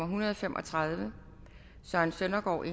hundrede og fem og tredive søren søndergaard